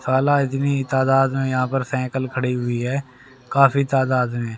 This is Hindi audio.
साला इतनी तादाद में यहां पर साइकल खड़ी हुई है काफी तादाद में।